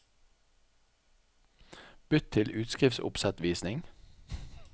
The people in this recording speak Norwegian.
Bytt til utskriftsoppsettvisning